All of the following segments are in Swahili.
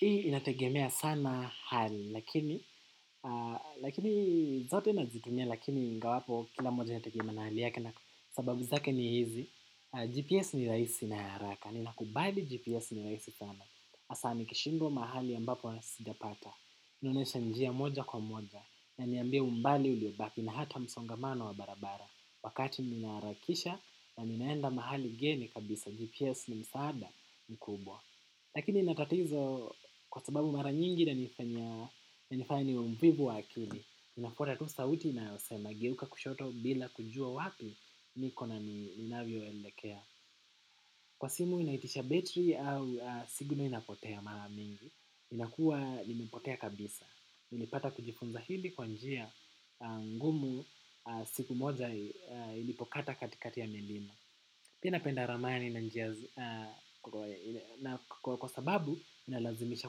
Hii inategemea sana hali, lakini zote nazitumia, lakini ingawapo kila moja inategemea na hali yake na sababu zake ni hizi. GPS ni rahisi na haraka, ninakubabi GPS ni rahisi sana. Asa ni kishindwa mahali ambapo sijapata. Hunionyesha njia moja kwa moja, iniambia umbali uliobaki na hata msongamano wa barabara. Wakati ninaarakisha na ninaenda mahali ngeni kabisa, GPS ni msaada mkubwa. Lakini natatizo kwa sababu mara nyingi inanifanya inanifanya niwe mvivu wa wakili. Nifuata tu sauti na inayosema geuka kushoto bila kujua wapi. Niko na ninavyo elekea. Kwa simu inaitisha betri au signo inapotea mara mingi. Inakua inapotea kabisa. Nilipata kujifunza hivi kwa njia ngumu siku moja ilipokata katikati ya milima. Pia napenda ramani na njia kwa sababu inalazimisha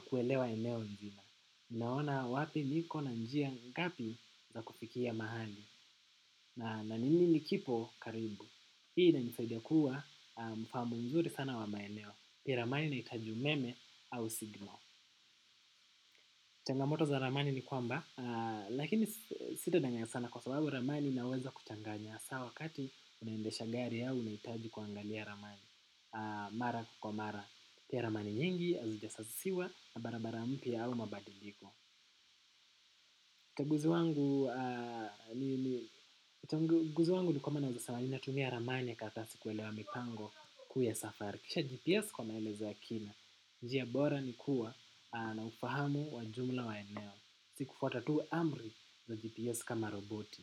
kuelewa eneo naona wapi niko na njia ngapi za kufikia mahali. Na ni nini kipo karibu. Hii inanisaidia kuwa na ufahamu mzuri sana wa maeneo. Pia ramani inahitaji umeme au signo. Changamoto za ramani ni kwamba. Lakini sito danganya sana kwa sababu ramani inaweza kuchanganya. Sa wakati unaendesha gari au unahitaji kuaangalia ramani. Mara kwa mara, pia ramani nyingi, azijasasiwa na barabara mpya au mabadiliko. Uchunguzi wangu ni kwamba naweza sema nina tumia ramani kadhaa kuelewa mipango kuu ya safari. Kisha GPS kwa maelezo ya kina, njia bora ni kuwa na ufahamu wa jumla wa eneo. Ni kufuata tu amri za GPS kama roboti.